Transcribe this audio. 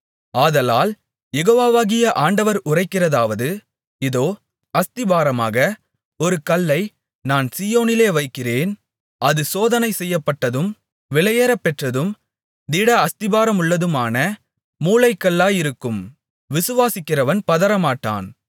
ஆதலால் யெகோவாவாகிய ஆண்டவர் உரைக்கிறதாவது இதோ அஸ்திபாரமாக ஒரு கல்லை நான் சீயோனிலே வைக்கிறேன் அது சோதனை செய்யப்பட்டதும் விலையேறப்பெற்றதும் திட அஸ்திபாரமுள்ளதுமான மூலைக்கல்லாயிருக்கும் விசுவாசிக்கிறவன் பதறமாட்டான்